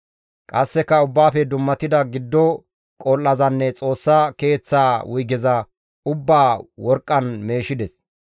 Qasseka Ubbaafe dummatida giddo qol7azanne Xoossa Keeththaa wuygeza ubbaa worqqan meeshides.